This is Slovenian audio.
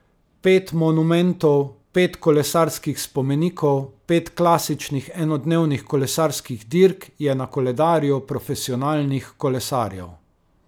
Pet monumentov, pet kolesarskih spomenikov, pet klasičnih enodnevnih kolesarskih dirk je na koledarju profesionalnih kolesarjev.